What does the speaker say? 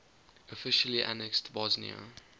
officially annexed bosnia